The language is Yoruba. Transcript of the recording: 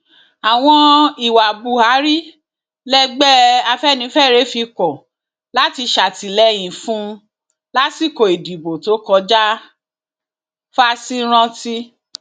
àwọn ìwà buhari lẹgbẹ afẹnifẹre fi kọ láti ṣàtìlẹyìn fún un lásìkò ìdìbò tó kọjá fásirántí